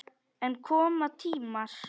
En koma tímar.